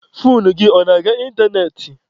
Foonu gị ọ na-aga ịntanetị?